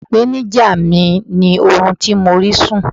ipenija mi ni orun tí mi o ri sun